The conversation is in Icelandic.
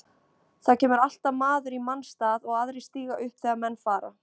Það kemur alltaf maður í manns stað og aðrir stíga upp þegar menn fara.